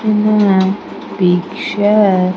In a Picture --